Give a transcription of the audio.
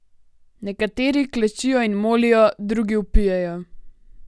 Nekateri klečijo in molijo, drugi vpijejo.